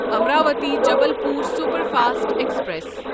Amravati Jabalpur superfast express